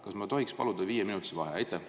Kas ma tohiksin paluda viieminutilist vaheaega?